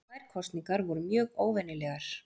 Þær kosningar voru mjög óvenjulegar